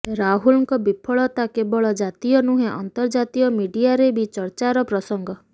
ରାହୁଲଙ୍କ ବିଫଳତା କେବଳ ଜାତୀୟ ନୁହେଁ ଆନ୍ତର୍ଜାତୀୟ ମିଡିଆରେ ବି ଚର୍ଚ୍ଚାର ପ୍ରସଙ୍ଗ